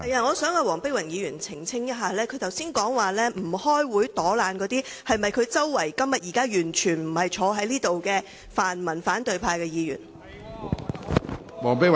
我想黃碧雲議員澄清，她剛才提到不出席會議、躲懶的議員，是否指她座位附近，現在完全不在席的泛民反對派議員？